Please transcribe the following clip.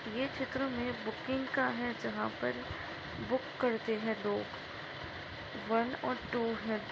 ये चित्र मे बुकिंग का है जहाँ पर बुक करते है लोग वन और टू है।